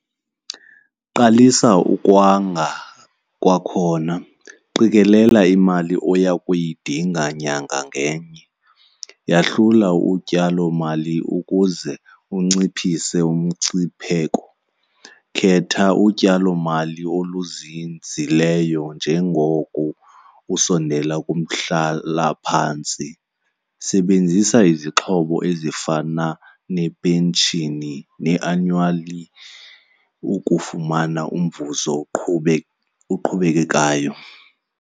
Qalisa ukwanga kwakhona. Qikelela imali oya kuyidinga nyanga ngenye, yahlula utyalomali ukuze unciphise umngciphimeko. Khetha utyalomali oluzinzileyo njengoko usondela kumhlalaphantsi, sebenzisa izixhopho ezifana nepenshini ne-annually ukufumana umvuzo oqhube, oqhubekayo.